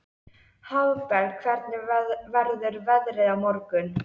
Hafberg, hvernig verður veðrið á morgun?